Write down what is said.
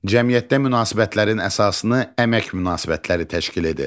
Cəmiyyətdə münasibətlərin əsasını əmək münasibətləri təşkil edir.